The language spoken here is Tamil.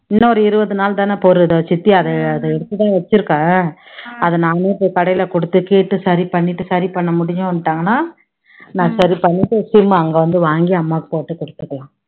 இன்னொரு இருவது நாள் தானே பொறு, இதோ சித்தி அதை அதை எடுத்து தான் வச்சுருக்கேன் அதை நானே போய் கடையில கொடுத்து கேட்டு சரி பண்ணிட்டு சரி பண்ண முடியும்னுட்டாங்கன்னா நான் சரி பண்ணிட்டு sim அ அங்க வந்து வாங்கி அம்மாக்கு போட்டு கொடுத்துடலாம்